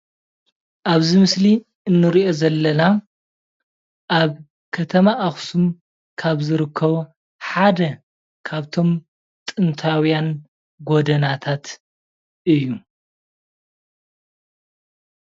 ኣብዚ ምስሊ እንሪኦ ዘለና ኣበ ከተማ ኣክሱም ካብ ዝርከቡ ሓደ ካብቶም ጥንታዉያን ጎደናታት እዩ ።